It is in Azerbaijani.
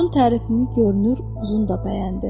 Corcun tərifini görünür uzun da bəyəndi.